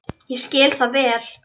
Ég skil það vel.